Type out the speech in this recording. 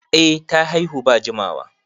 Eh ta haihu ba jimawa